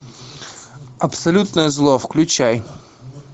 абсолютное зло включай